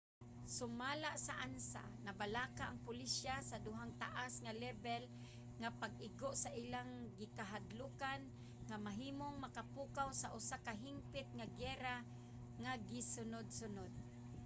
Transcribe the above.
sumala sa ansa nabalaka ang pulisya sa duhang taas nga lebel nga pag-igo nga ilang gikahadlokan nga mahimong makapukaw sa usa ka hingpit nga giyera nga sunud-sunod